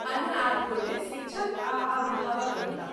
अन्य आठ गोटे शिक्षक आ अभिभावक रहताह।